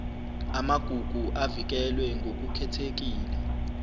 amagugu avikelwe ngokukhethekile